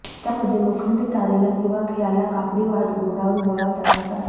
त्यामध्ये लोखंडी तारेला किंवा खिळ्याला कापडी वात गुंडाळून बोळा तयार करावा